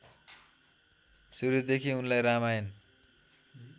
सुरूदेखि उनलाई रामायण